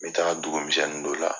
N bɛ taaga dugu misɛnnin dɔ la